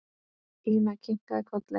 Ína kinkaði kolli.